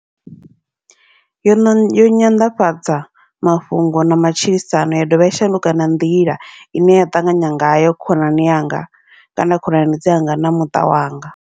Yono yo nyanḓadza mafhungo na matshilisano, ya dovha ya shanduka na nḓila ine ya ṱanganya ngayo khonani yanga, kana khonani dzanga na muṱa wanga.